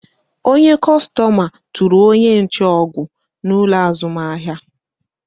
Onye kostoma tụrụ onye nche ọgụ n'ụlọ azụmahịa